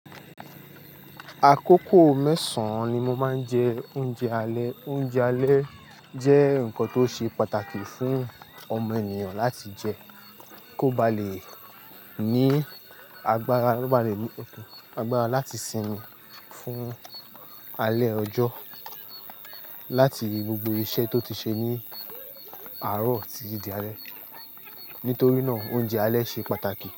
Àkókò mẹ́sàn-án ni mo máa ń jẹ oúnjẹ alẹ́. Oúnjẹ alẹ́ jẹ́ nǹkan tó ṣe pàtàkì fún ọmọ ènìyàn láti jẹ kó ba lè ní agbára, kó ba lè ní agbára láti sinmi fún alẹ́ ọjọ́, láti gbogbo iṣẹ́ tó ti ṣe ní àárọ̀ títí di alẹ́. Nítorí náà oúnjẹ alẹ́ ṣe pàtàkì.